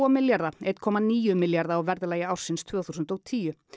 milljarða eitt komma níu milljarða á verðlagi ársins tvö þúsund og tíu